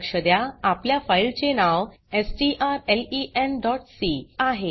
लक्ष द्या आपल्या फाइल चे नाव strlenसी आहे